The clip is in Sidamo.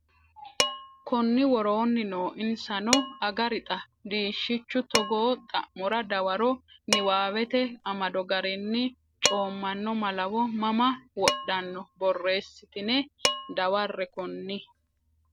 konni woroonni noo Insano Agarixa diishshichu togo xa mora dawaro niwaawete amado garinni coommanno malawo mama wodhanno borreessitine dawarre konni.